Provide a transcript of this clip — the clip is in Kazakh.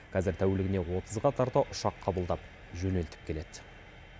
қазір тәулігіне отызға тарта ұшақ қабылдап жөнелтіп келеді